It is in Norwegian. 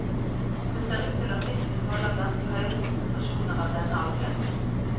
Det ser ut til at fisken tåler ganske høye konsentrasjoner av denne algen.